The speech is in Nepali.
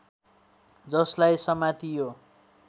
जसलाई समातियो